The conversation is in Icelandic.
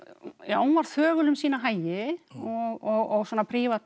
hún var þögul um sína hagi og svona